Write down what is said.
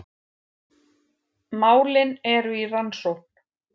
Málin eru í rannsókn